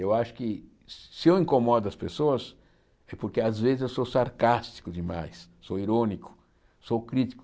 Eu acho que se eu incomodo as pessoas é porque às vezes eu sou sarcástico demais, sou irônico, sou crítico.